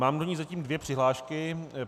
Mám do ní zatím dvě přihlášky.